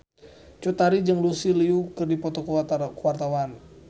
Cut Tari jeung Lucy Liu keur dipoto ku wartawan